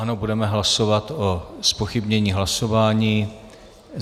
Ano, budeme hlasovat o zpochybnění hlasování.